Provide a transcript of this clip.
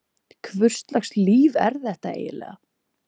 Hvurslags líf er þetta eiginlega?